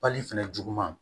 Pali fɛnɛ juguman